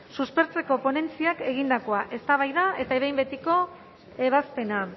suspertzeko ponentziak egindakoa eztabaida eta behin betiko ebazpena